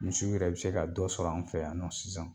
Misiw yɛrɛ bi se ka dɔ sɔrɔ an fɛ yan nɔ sisan